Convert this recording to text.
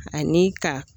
Ani ka